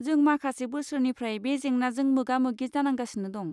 जों माखासे बोसोरनिफ्राय बे जेंनाजों मोगा मोगि जानांगासिनो दं।